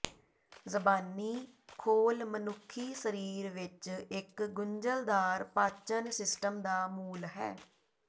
ਜ਼ਬਾਨੀ ਖੋਲ ਮਨੁੱਖੀ ਸਰੀਰ ਵਿੱਚ ਇੱਕ ਗੁੰਝਲਦਾਰ ਪਾਚਨ ਸਿਸਟਮ ਦਾ ਮੂਲ ਹੈ